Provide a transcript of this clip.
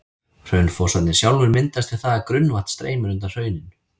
Hraunfossarnir sjálfir myndast við það að grunnvatn streymir undan hrauninu.